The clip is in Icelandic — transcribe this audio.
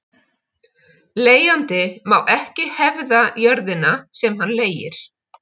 Leigjandi má ekki hefða jörðina sem hann leigir.